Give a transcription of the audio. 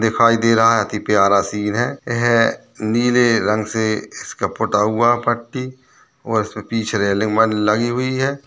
दिखाई दे रहा हैं अति प्यारा सीन हैं यह नीले रंग से इसके पूता हुआ हैं पट्टी और इसमें पीछे रेलिंग वाली लगी हुई हैं।